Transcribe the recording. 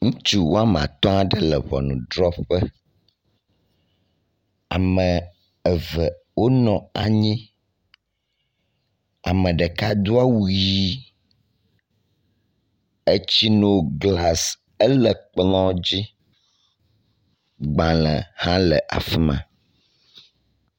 Ŋutsu wome atɔ̃ aɖe le ŋɔnudrɔƒe. Ame eve wonɔ anyi, ame ɖeka do awu ʋi, etsinoglasi ele kplɔ̃ dzi. Agbalẽ hã le afi ma.